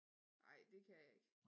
Ej det kan jeg ikke det